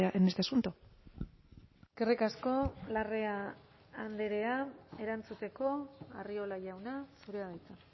en este asunto eskerrik asko larrea andrea erantzuteko arriola jauna zurea da hitza